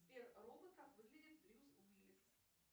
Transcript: сбер робот как выглядит брюс уиллис